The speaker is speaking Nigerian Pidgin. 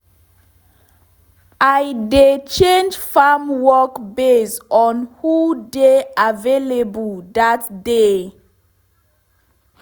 i dey change farm work base on who dey available dat day